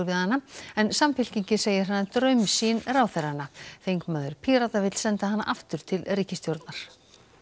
við hana en Samfylkingin segir hana draumsýn ráðherranna þingmaður Pírata vill senda hana aftur til ríkisstjórnarinnar